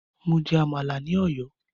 Mo jẹ Àmàlà ní ọ̀yọ́